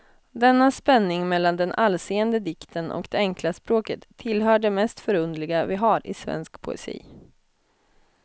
Denna spänning mellan den allseende dikten och det enkla språket tillhör det mest förunderliga vi har i svensk poesi.